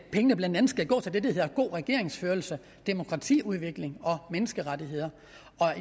pengene blandt andet skal gå til det der hedder god regeringsførelse demokratiudvikling og menneskerettigheder